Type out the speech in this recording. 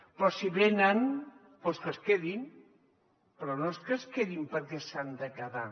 però si venen doncs que es quedin però no és que es quedin perquè s’han de quedar